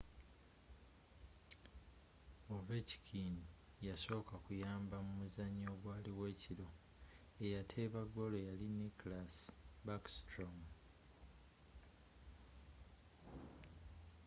ovechkin yasoka kuyamba mumuzanyo ogwaliwo ekiro eyateba golo yali nicklas backstrom